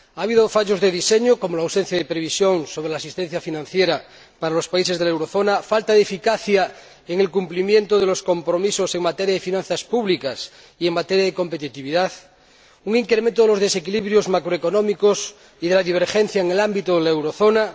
Ha habido fallos de diseño, como la ausencia de previsión sobre la asistencia financiera para los países de la eurozona, falta de eficacia en el cumplimiento de los compromisos en materia de finanzas públicas y en materia de competitividad y un incremento de los desequilibrios macroeconómicos y de la divergencia en el ámbito de la eurozona.